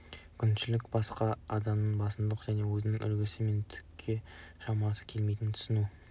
күншілдік басқа адамның басымдығын және өзінің әлсіздігі мен түкке шамасы келмейтіндігін түсіну